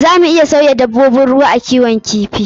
Za mu iya sauya dabbobin ruwa a kiwon kifi.